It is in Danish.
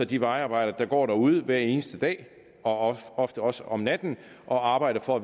de vejarbejdere der går derude hver eneste dag og ofte også om natten og arbejder for